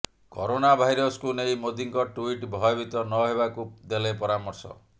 corona ଭାଇରସକୁ ନେଇ ମୋଦୀଙ୍କ ଟ୍ୱିଟ୍ ଭୟଭୀତ ନ ହେବାକୁ ଦେଲେ ପରାମର୍ଶ